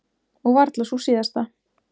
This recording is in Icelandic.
Og varla sú síðasta.